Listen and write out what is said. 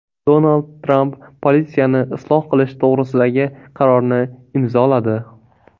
Donald Tramp politsiyani isloh qilish to‘g‘risidagi qarorni imzoladi.